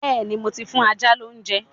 Bẹ́́ẹ̀ni, mo ti fún ajá lóúnjẹ